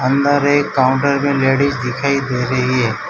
अंदर एक काउंटर पर लेडीज दिखाई दे रही है।